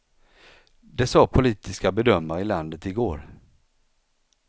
Det sade politiska bedömare i landet i går.